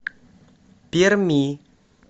перми